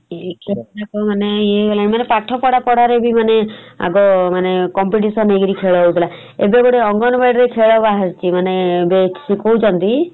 ଏକ ରେ କିଏ କହିବ ନାଇଁ ପାଠ ପଢା ପଢାରେ ବି ଆଗ ମାନେ competition କରି ଖେଳ ହଉଥିଲା ଏବେ ଗୋଟେ ଅଙ୍ଗନବାଡି ରେ ଖେଳ ବାହାରିଛି ମାନେ ଯଉ ଶିଖଉଛନ୍ତି ।